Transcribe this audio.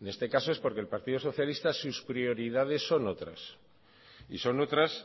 en este caso es porque el partido socialista sus prioridades son otras y son otras